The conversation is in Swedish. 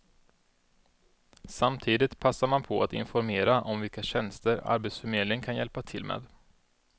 Samtidigt passar man på att informera om vilka tjänster arbetsförmedlingen kan hjälpa till med.